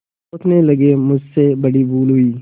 सोचने लगेमुझसे बड़ी भूल हुई